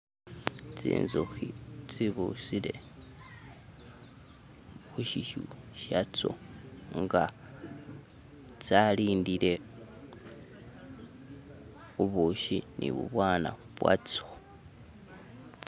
tsinzuhi tsibusile hushiyu shatso nga tsalindile bubushi nibubwana bwatso